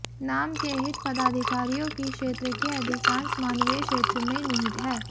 नाम के हित पदाधिकारियों की क्षेत्र के अधिकांश मानवीय क्षेत्र में निहित है